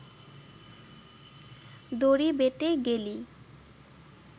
দড়ি বেটে গেলি